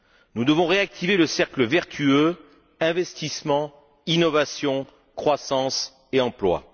Nous devons réactiver le cercle vertueux investissement, innovation, croissance et emploi.